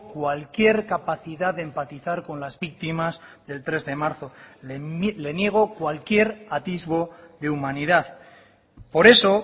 cualquier capacidad de empatizar con las víctimas del tres de marzo le niego cualquier atisbo de humanidad por eso